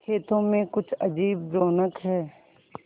खेतों में कुछ अजीब रौनक है